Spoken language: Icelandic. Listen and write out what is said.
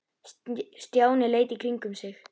Stjáni leit í kringum sig.